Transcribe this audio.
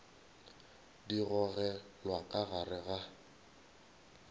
di gogelwa ka gare ga